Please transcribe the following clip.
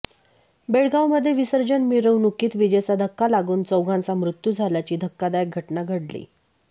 बेळगावमध्ये विसर्जन मिरवणूकीत वीजेचा धक्का लागून चौघांचा मृत्यू झाल्याची धक्कादायक घटना घडली